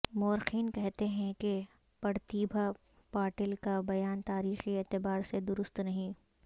مورخین کہتے ہیں کہ پرتیبھا پاٹل کا بیان تاریخی اعتبار سے درست نہیں